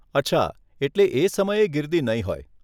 અચ્છા, એટલે એ સમયે ગિરદી નહીં હોય.